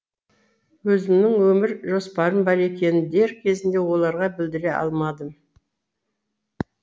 өзімнің өмір жоспарым бар екенін дер кезінде оларға білдіре алмадым